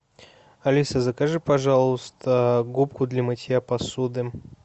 алиса закажи пожалуйста губку для мытья посуды